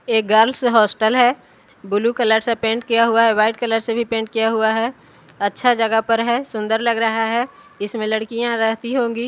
एक girls hostel है blue colour से पेंट किया हुआ हैं वाइट कलर से भी पेंट किया हुआ हैं अच्छा जगह पर है सुंदर लग रहा है इसमें लड़कियाँ रहती होंगी --